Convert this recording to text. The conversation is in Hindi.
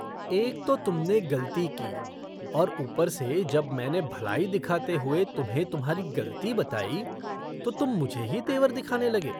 एक तो तुमने गलती की और ऊपर से जब मैंने भलाई दिखाते हुए तुम्हें तुम्हारी गलती बताई, तो तुम मुझे ही तेवर दिखाने लगे।